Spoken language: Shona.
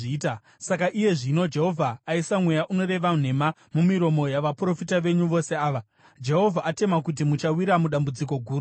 “Saka iye zvino Jehovha aisa mweya unoreva nhema mumiromo yavaprofita venyu vose ava. Jehovha atema kuti muchawira mudambudziko guru kwazvo.”